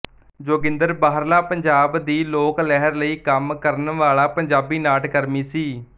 ਜੋਗਿੰਦਰ ਬਾਹਰਲਾ ਪੰਜਾਬ ਦੀ ਲੋਕ ਲਹਿਰ ਲਈ ਕੰਮ ਕਰਨ ਵਾਲਾ ਪੰਜਾਬੀ ਨਾਟਕਰਮੀ ਸੀ